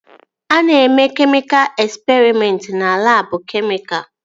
A na-eme kemịka esperịmentị na labụ kemịka